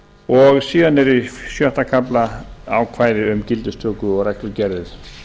og síðan er í sjötta kafla ákvæði um gildistöku og reglugerðir